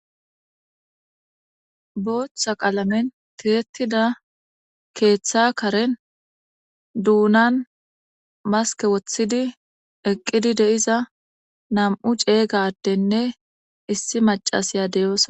Booththa qalamen tihetida keeththa karen duunan maske woththidi eqqidi de7iza nam7u ceeygadenne issi macasiya deyosona.